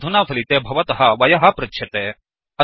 अधुना फलिते भवतः वयः पृच्छ्यते